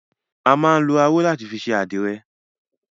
A máa ń lọ aró láti fi ṣe àdìrẹ.